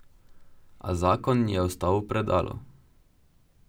A zakon je ostal v predalu.